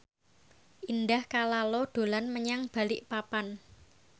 Indah Kalalo dolan menyang Balikpapan